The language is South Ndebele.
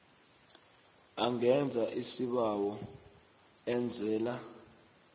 angenza isibawo enzela